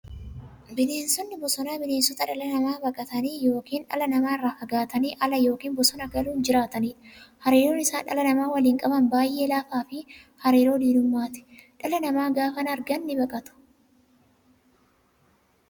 Bineensonni bosonaa bineensota dhala namaa baqatanii yookiin dhala namaa irraa fagaatanii ala yookiin bosona galuun jiraataniidha. Hariiroon isaan dhala namaa waliin qaban baay'ee laafaafi hariiroo diinummaati. Dhala namaa gaafa argan nibaqatu.